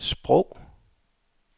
sprog